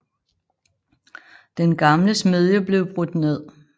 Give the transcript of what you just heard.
Den gamle smedje blev brudt ned